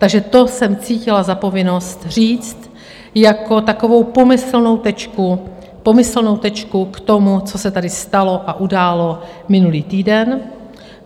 Takže to jsem cítila za povinnost říct jako takovou pomyslnou tečku k tomu, co se tady stalo a událo minulý týden.